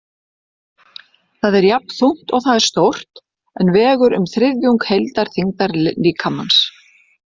Það er jafnþungt og það er stórt, en vegur um þriðjung heildarþyngdar líkamans.